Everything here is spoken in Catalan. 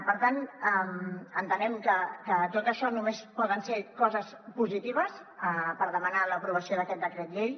per tant entenem que tot això només poden ser coses positives per demanar l’aprovació d’aquest decret llei